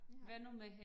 Ja